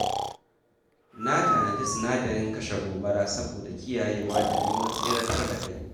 Na tanadi sinadarin kashe gobara saboda kiyayewa da neman tseratar da kai.